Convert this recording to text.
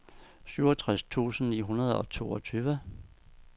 syvogtres tusind ni hundrede og toogtyve